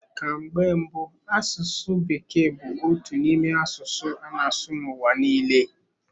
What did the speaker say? Ka mgbe mbụ asụsụ bekee bụ otu n'ime asụsụ a na-asụ n'ụwa niile.